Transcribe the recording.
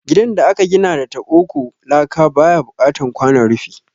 Gidan da aka gina da taɓo ko laka baya buƙatan kwanon rufi